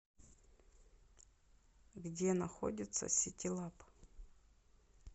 где находится ситилаб